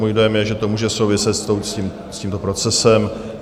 Můj dojem je, že to může souviset s tímto procesem.